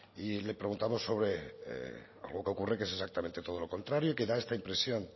y le preguntamos sobre algo que ocurre y que es exactamente todo lo contrario y que da esta impresión